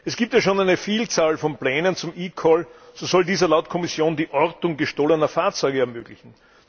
Es gibt ja schon eine Vielzahl von Plänen zum eCall So soll dieser laut Kommission die Ortung gestohlener Fahrzeuge ermöglichen.